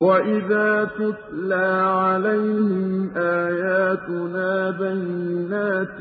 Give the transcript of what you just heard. وَإِذَا تُتْلَىٰ عَلَيْهِمْ آيَاتُنَا بَيِّنَاتٍ